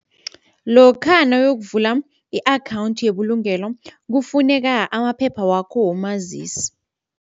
Lokha nawuyokuvula i-akhawundi yebulungelo kufuneka amaphepha wakho womazisi.